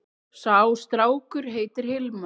Sá strákur heitir Hilmar.